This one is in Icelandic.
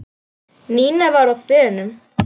Nína var á þönum.